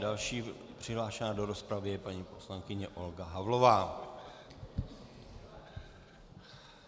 Další přihlášená do rozpravy je paní poslankyně Olga Havlová.